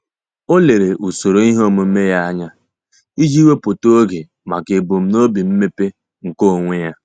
Ọ́ lèrè usoro ihe omume ya anya iji wèpụ́tá oge màkà ebumnobi mmepe nke onwe ya.